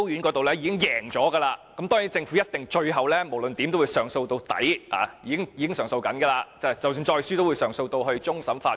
該宗案件已在高等法院勝訴，但政府當然會上訴到底，並且已經在進行上訴，即使再次敗訴，也一定會上訴至終審法院。